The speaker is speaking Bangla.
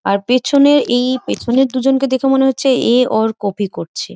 আর পিছনে এই পিছনের দুজনকে দেখে মনে হচ্ছে এ ওর কপি করছে।